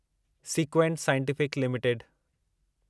sequent Scientific limited